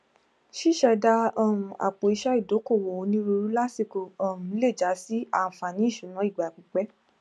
ṣiṣẹda um àpò iṣẹ ìdókòwò onírúurú lásìkò um lè já sí ànfààní ìṣúná ìgbà pípẹ